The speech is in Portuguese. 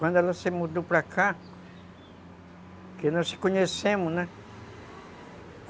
Quando ela se mudou para cá, que nós nos conhecemos, né?